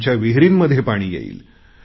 आमच्या विहींरींमध्ये पाणी येईल